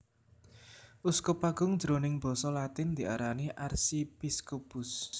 Uskup agung jroning Basa Latin diarani Archiepiscopus